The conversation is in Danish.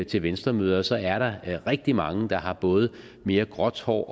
til venstremøder ser jeg at der er rigtig mange der har både mere gråt hår